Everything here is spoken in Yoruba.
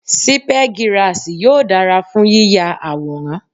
Sípẹ́girasì yóò dára fún yíya àwòrán.